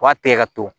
U b'a tigɛ ka to